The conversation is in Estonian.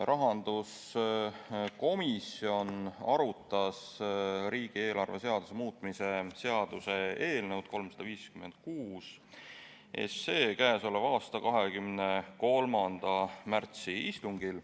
Rahanduskomisjon arutas riigieelarve seaduse muutmise seaduse eelnõu 356 k.a 23. märtsi istungil.